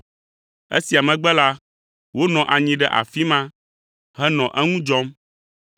Esia megbe la, wonɔ anyi ɖe afi ma henɔ eŋu dzɔm.